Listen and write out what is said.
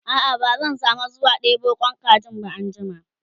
a'a ba zan samu zuwa ɗebo Kwan kajin ba anjima